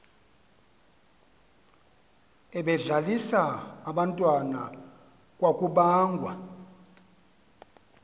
ebedlalisa abantwana kwakubangwa